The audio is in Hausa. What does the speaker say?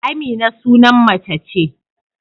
Amina sunan mace ce.